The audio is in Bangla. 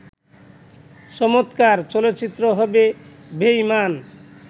চমৎকার চলচ্চিত্র হবে বেঈমান